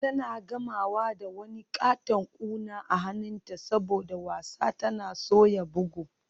Tana gamawa da wani katon kuna a hannunta saboda wasa tana soya bugu.